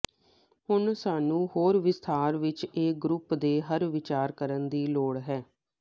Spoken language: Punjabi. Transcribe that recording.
ਹੁਣ ਸਾਨੂੰ ਹੋਰ ਵਿਸਥਾਰ ਵਿੱਚ ਇਹ ਗਰੁੱਪ ਦੇ ਹਰ ਵਿਚਾਰ ਕਰਨ ਦੀ ਲੋੜ ਹੈ